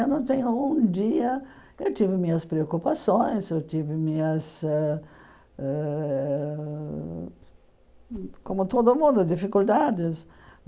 Eu não tenho um dia... Eu tive minhas preocupações, eu tive minhas ãh ãh ãh... Como todo mundo, dificuldades.